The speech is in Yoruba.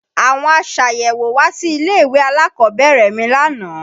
Àwọn aṣàyẹ̀wò wá sí ilé-ìwé alákọ̀ọ́bẹ̀rẹ̀ mi lánàá